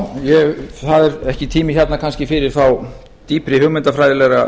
já það er ekki tími hérna kannski fyrir þá dýpri hugmyndafræðilega